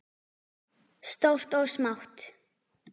Stórt og smátt.